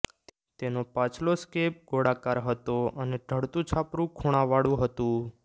તેનો પાછલો સ્કેબ ગોળાકાર હતો અને ઢળતું છાપરું ખૂણાંવાળું હતું